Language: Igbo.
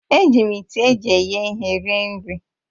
Eji m ite eji eghe ihe rie nri